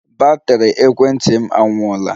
Batrị ekwentị m anwụọla